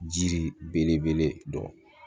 Jiri belebele dɔn